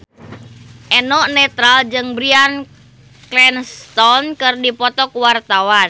Eno Netral jeung Bryan Cranston keur dipoto ku wartawan